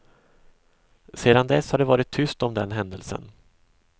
Sedan dess har det varit tyst om den händelsen.